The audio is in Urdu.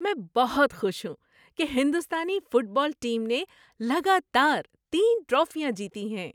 میں بہت خوش ہوں کہ ہندوستانی فٹ بال ٹیم نے لگاتار تین ٹرافیاں جیتی ہیں۔